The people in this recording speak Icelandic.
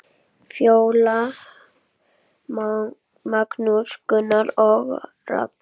Fjóla, Magnús, Gunnar og Ragnar.